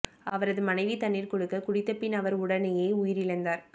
அவரது மனைவி தண்ணீர் கொடுக்க குடித்த பின் அவர் உடனேயே உயிரிழந்தார்